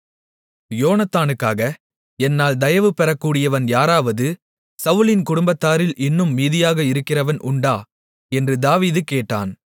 யோனத்தானுக்காக என்னால் தயவு பெறக்கூடியவன் யாராவது சவுலின் குடும்பத்தார்களில் இன்னும் மீதியாக இருக்கிறவன் உண்டா என்று தாவீது கேட்டான்